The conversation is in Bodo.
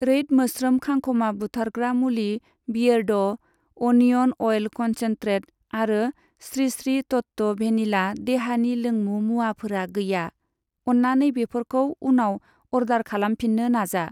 रैद मोस्रोम खांखमा बुथारग्रा मुलि, बियेरड' अनिअन अइल कनसेन्ट्रेट आरो स्रि स्रि तत्व भेनिला देहानि लोंमु मुवाफोरा गैया, अन्नानै बेफोरखौ उनाव अर्डार खालामफिन्नो नाजा।